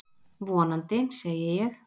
Vonandi, segi ég.